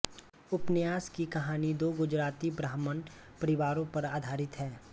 उपन्यास की कहानी दो गुजराती ब्राह्मण परिवारों पर आधारित है